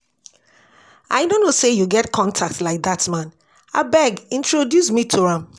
I no know say you get contact like dat man. Abeg introduce me to am